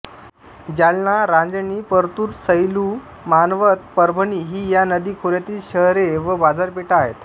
जालना रांजणी परतुर सैलू मानवथ परभणी ही या नदीखोऱ्यातील शहरे व बाजारपेठा आहेत